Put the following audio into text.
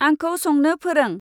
आंखौ संनो फोरों।